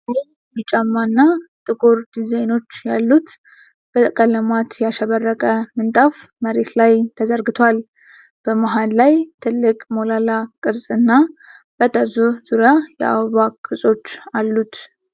ቀይ፣ ቢጫማ እና ጥቁር ዲዛይኖች ያሉት በቀለማት ያሸበረቀ ምንጣፍ መሬት ላይ ተዘርግቷል። በመሃል ላይ ትልቅ ሞላላ ቅርጽ እና በጠርዙ ዙሪያ የአበባ ቅርጾች አሉት።